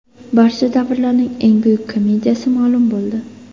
Barcha davrlarning eng buyuk komediyasi ma’lum bo‘ldi.